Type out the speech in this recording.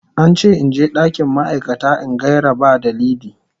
An ce in je dakin ma'aikata in gaira ba dalili.